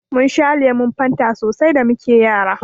Mun sha lemun Fanta so sai da muke Yara.